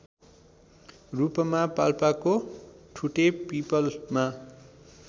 रूपमा पाल्पाको ठुटेपीपलमा